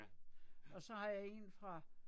Ja, ja